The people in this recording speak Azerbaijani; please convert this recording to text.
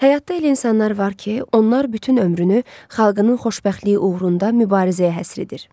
Həyatda elə insanlar var ki, onlar bütün ömrünü xalqının xoşbəxtliyi uğrunda mübarizəyə həsr edir.